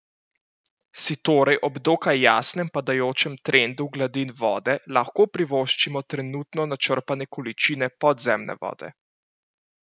Si torej ob dokaj jasnem padajočem trendu gladin vode lahko privoščimo trenutno načrpane količine podzemne vode?